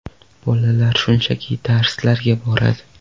Bolalar shunchaki darslarga boradi.